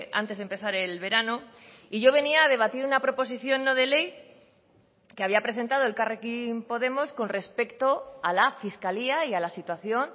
antes de empezar el verano y yo venía a debatir una proposición no de ley que había presentado elkarrekin podemos con respecto a la fiscalía y a la situación